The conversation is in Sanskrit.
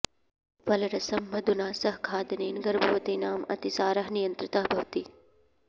फलरसं मधुना सह खादनेन गर्भवतीनाम् अतिसारः नियन्त्रितः भवति